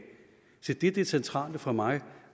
se det er det centrale for mig